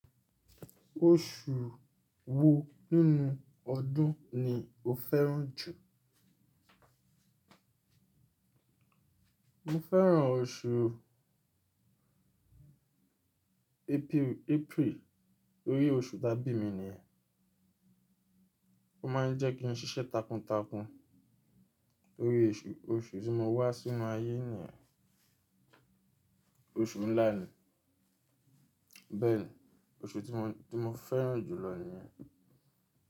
Oṣù wo nínú ọdún ni o fẹ́ràn jù? Mo fẹ́ràn oṣù April, torí oṣù tábì mi nìyẹn. Ó máa ń jẹ́ kí n ṣiṣẹ́ takuntakun. Torí oṣù, oṣù tí mo wá sí inu ayé nìyẹn. Oṣù ńlá ni. Bẹ́ẹ̀ni, oṣù tí mo, tí mo fẹ́ràn jù lọ nìyẹn.